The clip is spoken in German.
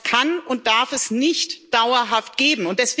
Das kann und darf es nicht dauerhaft geben.